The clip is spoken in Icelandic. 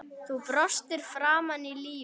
Þú brostir framan í lífið.